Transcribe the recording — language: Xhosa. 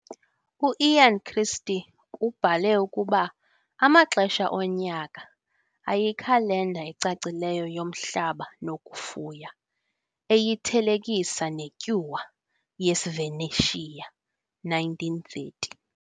U-Ian Christie ubhale ukuba "Amaxesha Onyaka" "ayikhalenda ecacileyo yomhlaba nokufuya," eyithelekisa neTyuwa "yeSvanetia", 1930.